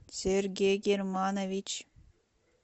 сергей германович